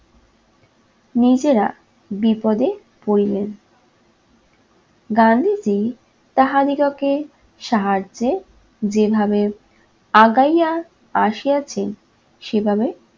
নিজেরা বিপদে পড়িলেন। গান্ধিজি তাহাদিগকে সাহায্যে যেভাবে আগাইয়া আসিয়াছেন সেভাবে